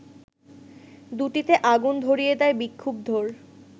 দুটিতে আগুন ধরিয়ে দেয় বিক্ষুব্ধর